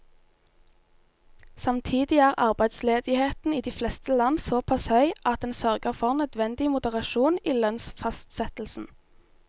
Samtidig er arbeidsledigheten i de fleste land såpass høy at den sørger for nødvendig moderasjon i lønnsfastsettelsen.